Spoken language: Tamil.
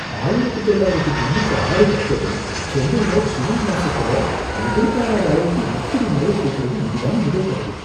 ஆயிரத்து தொள்ளாயிரத்து தொண்ணூற்று ஆறுக்கு அப்புறம் சென்னைல ஜூன் மாசத்துல எதிர்பாராத அளவுக்கு இப்படி மழை கொட்டுறது இதுதான் முதல் தடவை